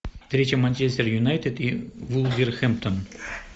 встреча манчестер юнайтед и вулверхэмптон